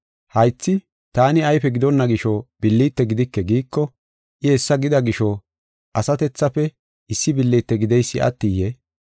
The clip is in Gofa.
Haythi, “Taani ayfe gidonna gisho billite gidike” giiko, I hessa gida gisho asatethafe issi billite gideysi attiyee?